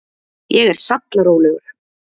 Ég er sallarólegur.